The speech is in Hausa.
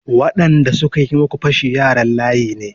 Waɗanda suka yi muku fashi yaran layi ne.